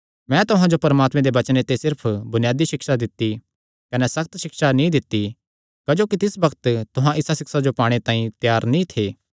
मैं तुहां जो परमात्मे दे वचने ते सिर्फ बुनियादी सिक्षा दित्ती कने सक्त सिक्षा नीं दित्ती क्जोकि तिस बग्त तुहां इसा सिक्षा जो पाणे तांई त्यार नीं थे